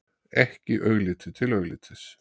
Ekki augliti til auglitis.